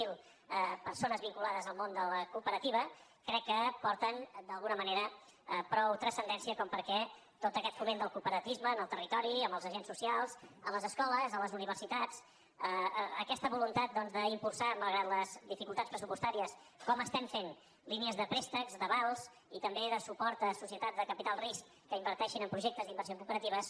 zero persones vinculades al món de la cooperativa crec que aporten d’alguna manera prou transcendència perquè tot aquest foment del cooperativisme en el territori amb els agents socials a les escoles a les universitats aquesta voluntat doncs d’impulsar malgrat les dificultats pressupostàries com estem fent línies de préstecs d’avals i també de suport a societats de capital de risc que inverteixin en projectes d’inversió en cooperatives